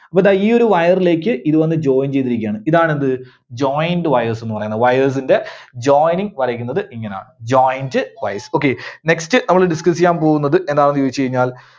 എന്നിട്ട് ഈ ഒരു Wire ലേക്ക് ഇത് വന്ന് join ചെയ്തിരിക്കയാണ്. ഇതാണ് എന്ത്? Joint wires എന്ന് പറയണത്. Wires ന്റെ joining വരക്കുന്നത് ഇങ്ങനാണ്. Joint wires. okay, Next നമ്മള് discuss ചെയ്യാൻ പോകുന്നത് എന്താണെന്ന് ചോദിച്ച് കഴിഞ്ഞാൽ